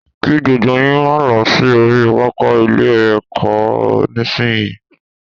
Kí gbogbo yín máa lọ sí orí pápá ilé-ẹ̀kọ́ nísìnyí